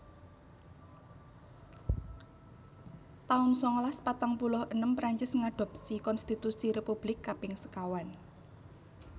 taun sangalas patang puluh enem Prancis ngadhopsi konstitusi Republik Kaping sekawan